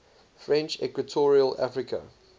french equatorial africa